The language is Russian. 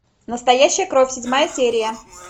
настоящая кровь седьмая серия